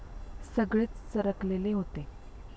सगळेच चरकलेले होते.